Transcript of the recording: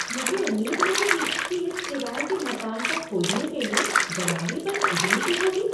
मुझे उम्मीद नहीं थी कि इस किराए के मकान को खोजने के लिए दलाली बस इतनी सी होगी!